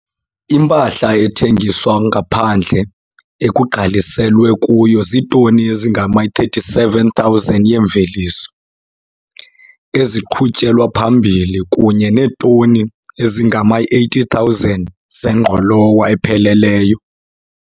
Impahla ethengiswa ngaphandle ekugqaliselwe kuyo ziitoni ezingama-37 000 yeemveliso eziqhutyelwa phambili kunye neetoni ezingama-80 000 zengqolowa epheleleyo.